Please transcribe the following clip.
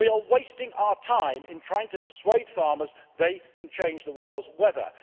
We are wasting our time in trying to persuade farmers they can change the world's weather.